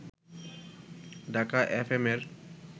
Dhaka FM এর